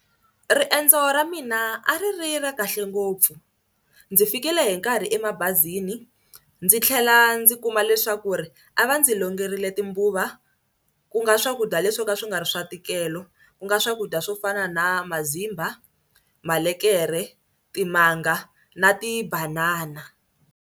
Riendzo ra mina a ri ri ra kahle ngopfu. Ndzi fikile hi nkarhi emabazini ndzi tlhela ndzi kuma leswaku ri a va ndzi longerile timbuva ku nga swakudya leswo ka swi nga ri swa ntikelo ku nga swakudya swo fana na mazimba, malekere, timanga na tibanana.